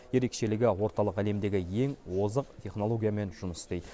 ерекшелігі орталық әлемдегі ең озық технологиямен жұмыс істейді